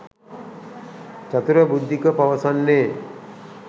චතුර බුද්ධික පවසන්නේ.